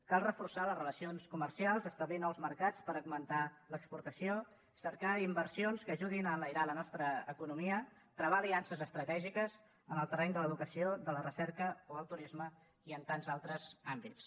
cal reforçar les relacions comercials establir nous mercats per augmentar l’exportació cercar inversions que ajudin a enlairar la nostra economia travar aliances estratègiques en el terreny de l’educació de la recerca o el turisme i en tants altres àmbits